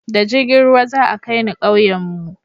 da jirgin ruwa za a kai ni kauyen mu